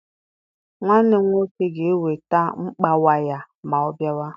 Nwanne m nwoke ga-eweta mkpa waya ma ọ bịawa.